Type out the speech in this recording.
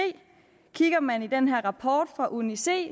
kigger man i rapporten fra uni c